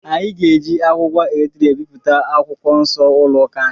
Anyị ga-eji akwụkwọ A3 ebipụta akwụkwọ Nsọ ụlọ ụka anyị.